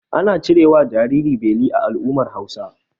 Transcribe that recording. Ana cirewa jariri beli a al'ummar Hausawa.